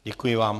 Děkuji vám.